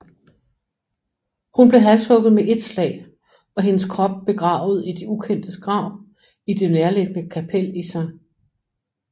Hun blev halshugget med ét slag og hendes krop begravet i de ukendtes grav i det nærliggende kapel i St